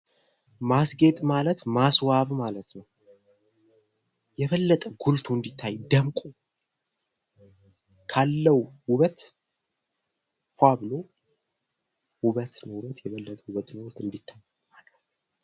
ማስጌጥ ማለት ማስዋብ ማለት ነው። የበለጠ ጎልቶ እንዲታይ ደምቆ ካለው ውበት ፍዋ ብሎ የበለጠ ውበት ኖሮት እንድታይ ማድረግ ነው።